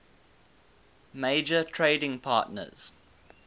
major trading partners